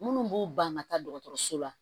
Minnu b'u ban ka taa dɔgɔtɔrɔso la